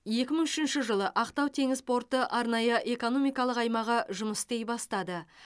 екі мың үшінші жылы ақтау теңіз порты арнайы экономикалық аймағы жұмыс істей бастады